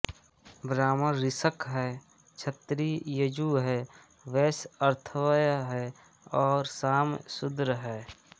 ब्राह्मण ऋक् है क्षत्रिय यजु है वैश्य अथर्व है और साम शूद्र है